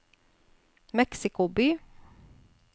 Mexico by